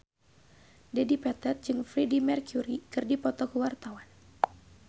Dedi Petet jeung Freedie Mercury keur dipoto ku wartawan